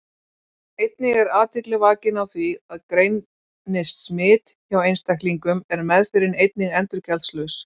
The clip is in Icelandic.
Einnig er athygli vakin á því að greinist smit hjá einstaklingum er meðferðin einnig endurgjaldslaus.